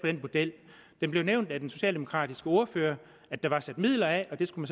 model det blev nævnt af den socialdemokratiske ordfører at der var sat midler af og det skulle